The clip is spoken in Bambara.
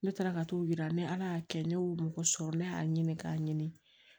Ne taara ka t'o yira ne y'a kɛ ne y'o mɔgɔ sɔrɔ ne y'a ɲini k'a ɲini